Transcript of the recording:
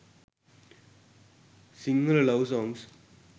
sinhala love songs